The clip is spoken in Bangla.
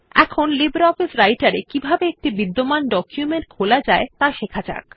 এখন লিব্রিঅফিস রাইটের এ কিভাবে একটি বিদ্যমান ডকুমেন্ট খোলা যায় ত়া শেখা যাক